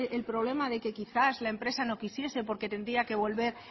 el problema de que quizás la empresa no quisiese porque tendría que volver